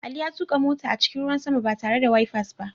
Ali ya tuka mota a cikin ruwan sama ba tare da wifers ba.